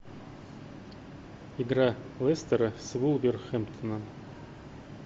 игра лестера с вулверхэмптоном